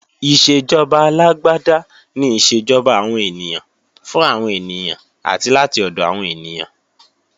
Ìṣèjọba alágbáda ni ìṣèjọba àwọn ènìyàn, fún àwọn ènìyàn, àti láti ọ̀dọ̀ àwọn ènìyàn